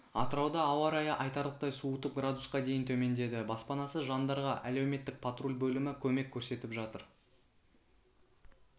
атырауда ауа райы айтарлықтай суытып градусқа дейін төмендеді баспанасыз жандарға әлеуметтік патруль бөлімі көмек көрсетіп жатыр